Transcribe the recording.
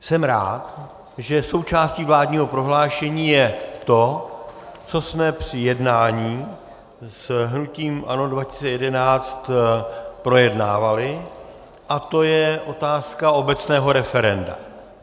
Jsem rád, že součástí vládního prohlášení je to, co jsme při jednání s hnutím ANO 2011 projednávali, a to je otázka obecného referenda.